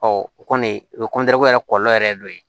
o kɔni o yɛrɛ kɔlɔlɔ yɛrɛ ye dɔ ye